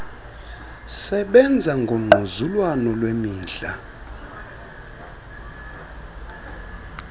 sebenza ngongquzulwano lwemidla